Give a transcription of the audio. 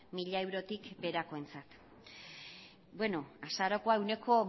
mila eurotik berakoentzat azarokoa ehuneko